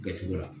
Kɛcogo la